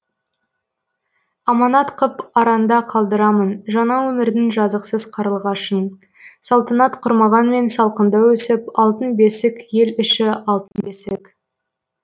аманат қып аранда қалдырамын жаңа өмірдің жазықсыз қарлығашын салтанат құрмағанмен салқында өсіп алтын бесік ел іші алтын бесік